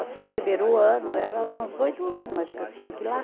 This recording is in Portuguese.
Assim, primeiro ano, era umas, oito ano acho que eu tinha, que lá